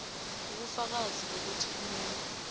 ubufakazi bokuthi umuntu